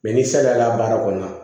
ni saliya baara kɔnɔ